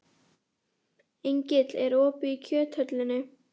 Engill, er opið í Kjöthöllinni?